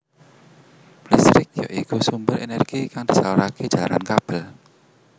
Listrik ya iku sumber energi kang disalurake jalaran kabel